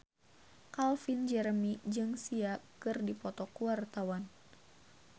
Calvin Jeremy jeung Sia keur dipoto ku wartawan